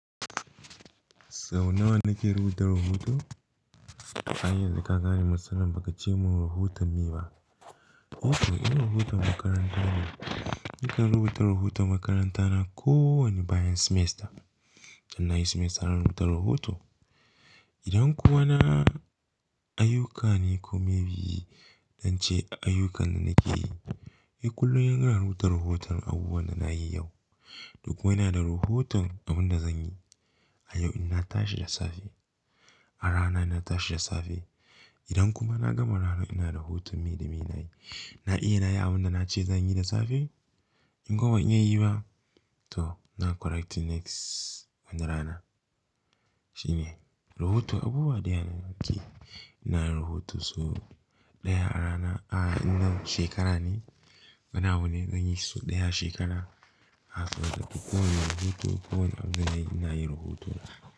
Sau nawa nake rubuta rahoto? Ai yanzu ka gane matsalar baka ce mun rahutan me ba. To in rahutan makaranta ne, nakan rubuta rahoton makaranta na ko wane bayan semester. In nayi semester zan rubuta rahoto idan kuma na ayyuka ne ko maybe zance a ayyukan da nake yi ni kullum ina rubuta rahoton abubuwan da nayi yau kuma ina da rahoton abun da zan yi a yau in na tashi da safe, a ranar ina tashi da safe. Idan kuma na gama ranar ina rahoton me da me na yi. Na iya na yi abun da na ce zan yi da safe? In kuwa ban iya yi ba, to zan correcting next wani rana. Shine rahoto abubuwa ɗaya na nakeyi ina yin rahoto su ɗaya a rana, a shekara ne. Wane abu ne da zan yi shi sau ɗaya a shekara. Kowani abun da nayi ina yin rahoto.